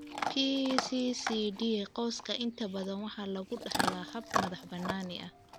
PCCD qoyska inta badan waxa lagu dhaxlaa hab madax-bannaani ah.